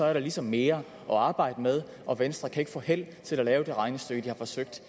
er der ligesom mere at arbejde med og venstre kan ikke få held til at lave det regnestykke de har forsøgt